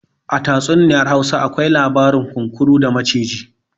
A tatsuniyar Hausa akwai labarin kunkuru a maciji